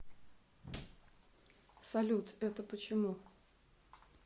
салют это почему